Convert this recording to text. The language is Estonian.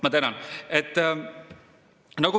Ma tänan!